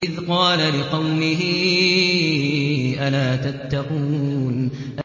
إِذْ قَالَ لِقَوْمِهِ أَلَا تَتَّقُونَ